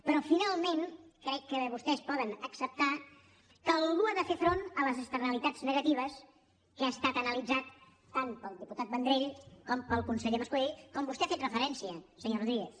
però finalment crec que vostès poden acceptar que algú ha de fer front a les externalitats negatives que ha estat analitzat tant pel diputat vendrell com pel conseller mascolell com vostè hi ha fet referència senyor rodríguez